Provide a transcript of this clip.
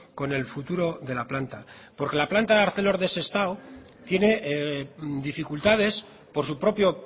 con el futuro de la planta porque la planta de arcelor de sestao tiene dificultades por su propio